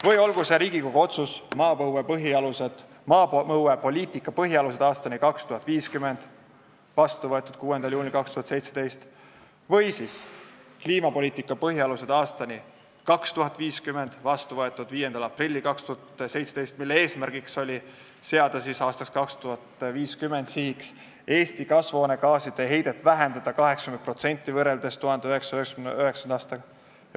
Või olgu näiteks toodud Riigikogu otsus "Maapõuepoliitika põhialused aastani 2050", vastu võetud 6. juunil 2017, või "Kliimapoliitika põhialused aastani 2050", vastu võetud 5. aprillil 2017, mille eesmärk on seada aastaks 2050 sihiks vähendada Eestis kasvuhoonegaaside heidet 80% võrreldes 1999. aastaga.